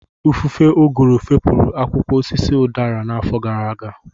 Ifufe ụgụrụ fepụrụ akwụkwọ osisi udara n'afọ gara aga